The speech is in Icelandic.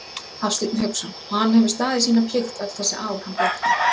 Hafsteinn Hauksson: Og hann hefur staðið sína plikt öll þessi ár, hann Bjarni?